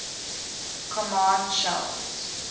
command shells